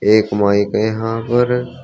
एक माइक है यहां पर।